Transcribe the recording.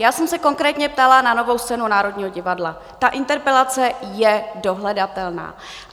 Já jsem se konkrétně ptala na Novou scénu Národního divadla, ta interpelace je dohledatelná.